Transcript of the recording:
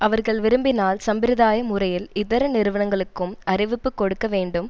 அவர்கள் விரும்பினால் சம்பிரதாய முறையில் இதர நிறுவனங்களுக்கும் அறிவிப்பு கொடுக்க வேண்டும்